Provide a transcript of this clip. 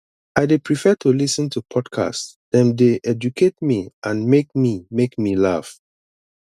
i dey prefer to lis ten to podcasts dem dey educate me and make me make me laugh